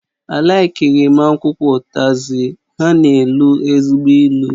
Á laikighi m akwụkwọ ụtazi, ha na-elu ezigbo ilu